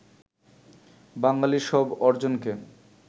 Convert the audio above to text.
বাঙালির সব অর্জনকে